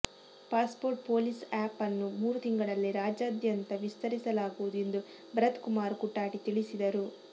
passport police app ಅನ್ನು ಮೂರು ತಿಂಗಳಲ್ಲಿ ರಾಜ್ಯದಾದ್ಯಂತ ವಿಸ್ತರಿಸಲಾಗುವುದು ಎಂದು ಭರತ್ ಕುಮಾರ್ ಕುಟಾಟಿ ತಿಳಿಸಿದರು